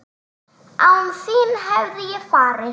Án þín hefði ég farist?